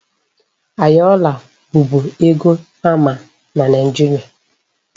Ayọla bụbu ego a ma na Nigeria.